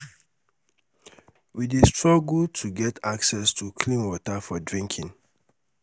we dey struggle to get access to clean water for drinking